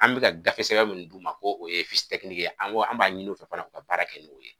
An bɛ ka gafesɛbɛn min d'u ma k'o ye ye ko an b'a ɲini u fɛ fana u ka baara kɛ n'o ye